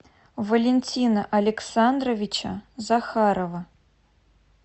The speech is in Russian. валентина александровича захарова